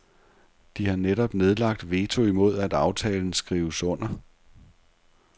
De har netop nedlagt veto imod at aftalen skrives under.